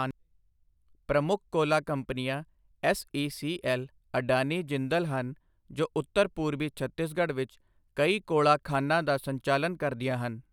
ਪ੍ਰਮੁੱਖ ਕੋਲਾ ਕੰਪਨੀਆਂ ਐੱਸ.ਈ.ਸੀ.ਐੱਲ., ਅਡਾਨੀ, ਜਿੰਦਲ ਹਨ ਜੋ ਉੱਤਰ ਪੂਰਬੀ ਛੱਤੀਸਗੜ੍ਹ ਵਿੱਚ ਕਈ ਕੋਲਾ ਖਾਣਾਂ ਦਾ ਸੰਚਾਲਨ ਕਰਦੀਆਂ ਹਨ।